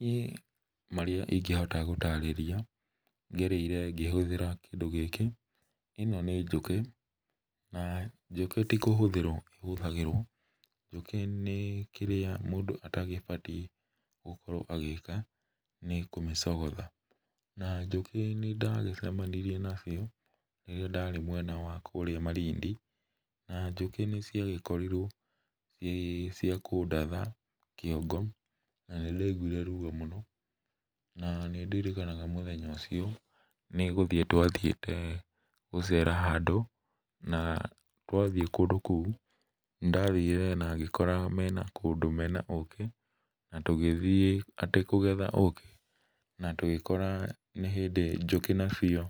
Niĩ marĩa ingĩhota gũtarĩria ngereire ngĩhũthĩra kĩndũ gĩkĩ ĩno nĩ njũkĩ na njũkĩ ti kũhũthĩrwo ĩhũthagĩrwo, njũkĩ nĩ kĩrĩa mũndũ atabatie agĩka nĩ kũmĩcogotha, na njũkĩ nĩ ndagĩcemanirie nacio rĩrĩa ndarĩkũrĩa mwena wa kũrĩa Malindi na njũkĩ cia gĩkorirwo nĩ cia kũndatha kĩongo na nĩndaiguire ruo mũno na nĩ ndirikanaga mũthenya ũcio nĩ gũthiĩ twathiĩte gũcera handũ na twathiĩ kũndũ kũu nĩ ndathire mena kũndũ mena ũkĩ na tũhĩthiĩ atĩ kũgetha ũkĩ na tũgĩkora njũkĩ nĩ hĩndĩ